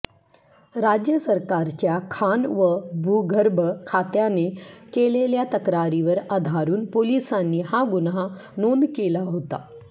राज्य सरकारच्या खाण व भूगर्भ खात्याने केलेल्या तक्रारीवर आधारुन पोलिसांनी हा गुन्हा नोंद केला होता